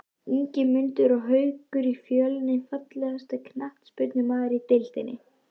Ingimundur og Haukur í Fjölni Fallegasti knattspyrnumaðurinn í deildinni?